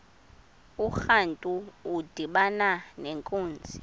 urantu udibana nenkunzi